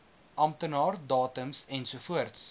amptenaar datums ensovoorts